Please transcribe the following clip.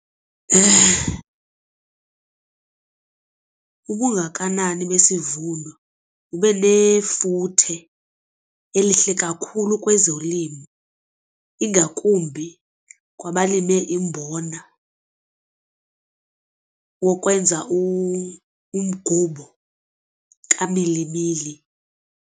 Ubungakanani besivuno buba nefuthe elihle kakhulu kwezolimo ingakumbi kwabalime imbona wokwenza umgubo kamilimili.